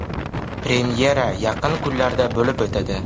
Premyera yaqin kunlarda bo‘lib o‘tadi.